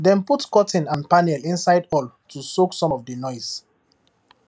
dem put curtain and panel inside hall to soak some of the noise